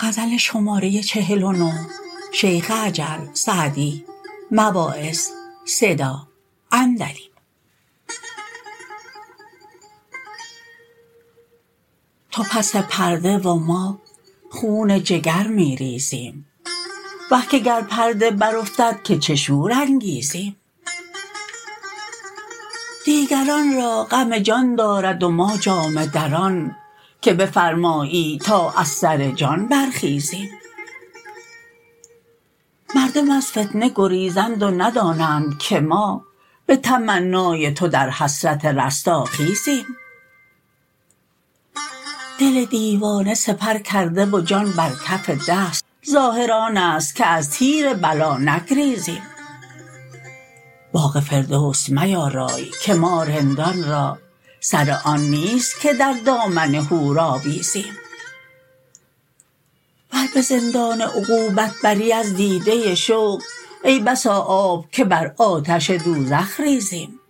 تو پس پرده و ما خون جگر می ریزیم وه که گر پرده برافتد که چه شور انگیزیم دیگران را غم جان دارد و ما جامه دران که بفرمایی و ما از سر جان برخیزیم مردم از فتنه گریزند و ندانند که ما به تمنای تو در حسرت رستاخیزیم دل دیوانه سپر کرده و جان بر کف دست ظاهر آن است که از تیر بلا نگریزیم باغ فردوس میارای که ما رندان را سر آن نیست که در دامن حور آویزیم ور به زندان عقوبت بری از دیده شوق ای بسا آب که بر آتش دوزخ ریزیم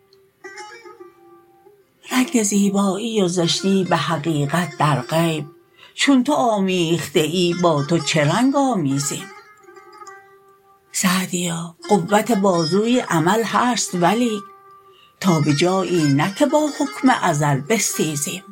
رنگ زیبایی و زشتی به حقیقت در غیب چون تو آمیخته ای با تو چه رنگ آمیزیم سعدیا قوت بازوی عمل هست ولیک تا به جایی نه که با حکم ازل بستیزیم